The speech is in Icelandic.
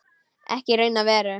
Ekki í raun og veru.